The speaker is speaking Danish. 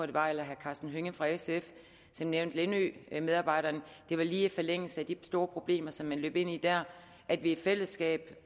det var eller herre karsten hønge fra sf nævne lindømedarbejderne og det var lige i forlængelse af de store problemer som man løb ind i dér at vi i fællesskab